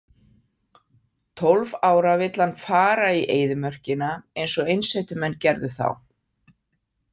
Tólf ára vill hann fara í eyðimörkina eins og einsetumenn gerðu þá.